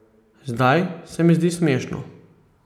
Zdaj se mi zdi smešno.